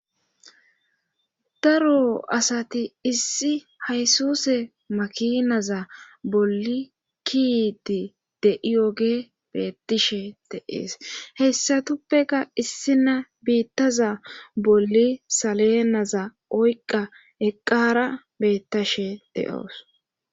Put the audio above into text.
daro asati issi haysuse makinaza bolli kiiti de7iyoge beettishe de7ees heyssatuppeka issi na biittaza bolli salenaza oyqqa eqqara beettashe de7oos